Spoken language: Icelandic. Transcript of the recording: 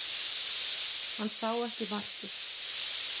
Hann sá ekki markið